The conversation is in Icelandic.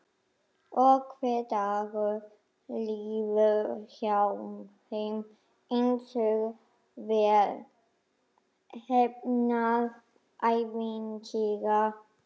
Og hver dagur líður hjá þeim einsog vel heppnað ævintýri.